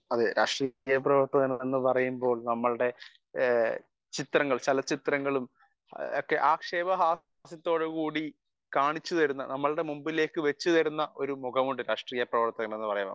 speaker 1 അതെ രാഷ്ട്രീയ പ്രവർത്തനം എന്ന് പറയുമ്പോൾ നമ്മളുടെ ചിത്രങ്ങൾ ചാള ചിത്രങ്ങളും ആക്ഷേപ ഹാസ്യത്തോടുകൂടി കാണിച്ചു തരുന്ന നമ്മുടെ മുൻപിലേക്ക് വച്ച് തരുന്ന ഒരു മുഖമുണ്ട് രാഷ്ട്രീയ പ്രവർത്തനം എന്ന് പറയുമ്പോൾ